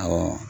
Awɔ